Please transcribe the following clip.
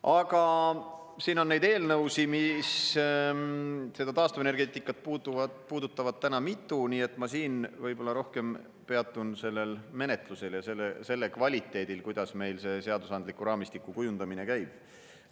Aga siin on neid eelnõusid, mis seda taastuvenergeetikat puudutavad, täna mitu, nii et ma siin võib-olla rohkem peatun sellel menetlusel ja selle kvaliteedil, kuidas meil see seadusandliku raamistiku kujundamine käib.